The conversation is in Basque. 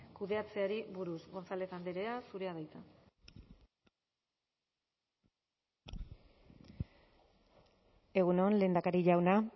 kudeatzeari buruz gonzález andrea egun on lehendakari jauna